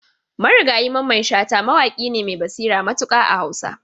Marigayi Mamman Shata mawaƙi ne mai basira matuƙa a Hausa.